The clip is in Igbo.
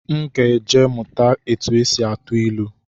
M ga-eje mụta etu esi atụ ilu